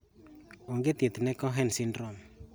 Onge thieth ne Cohen syndrome